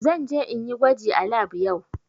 Zan je in yi gwaji a lab yau.